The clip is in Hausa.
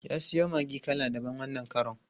Ya siyo maggi kala daban wannan karon.